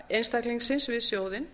einstaklingsins við sjóðinn